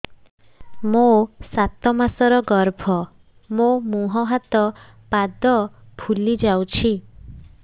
ମୋ ସାତ ମାସର ଗର୍ଭ ମୋ ମୁହଁ ହାତ ପାଦ ଫୁଲି ଯାଉଛି